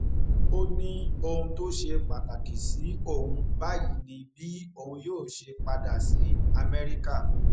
ó ní ohun tó ṣe pàtàkì sí òun báyìí ni bí òun yóò ṣe padà sí amẹríkà